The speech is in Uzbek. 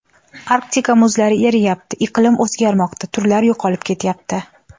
Arktika muzlari eriyapti, iqlim o‘zgarmoqda, turlar yo‘qolib ketyapti.